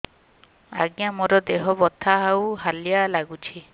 ଆଜ୍ଞା ମୋର ଦେହ ବଥା ଆଉ ହାଲିଆ ଲାଗୁଚି